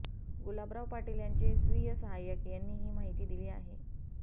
गुलाबराव पाटील यांचे स्वीय सहाय्यक यांनी ही माहिती दिली आहे